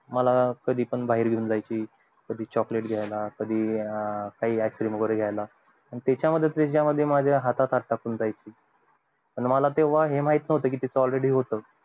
मला कधी पण बाहेर घेऊन जायची कधी chocolate घायला कधी ice cream वैगेरे घायला त्याच्या मध्ये त्याच्या मध्ये माझ्या हातात हात टाकून जायची पण तेव्हा मला हे माहित नव्हतं का तीच all ready होत